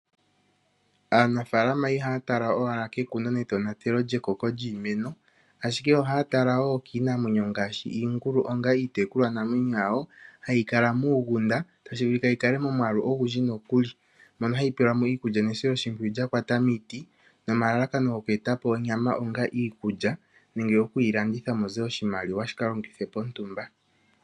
Aanafaalama ihaya tala owala kekuno netonatelo lyekoko lyiimeno ashike ohaya tala woo kiinamwenyo ngaashi iingulu onga iitekulwa namwenyo yawo hayi kala muugunda tashi vulika yikale momwaalu ogundji nokuli mono hayi pelwamo iikulya nesiloshipwiyu lya kwata miiti nomalalakano goku etapo onyama onga iikulya nenge oku yi landitha mute oshimaliwa shi kalongithwe pontumba.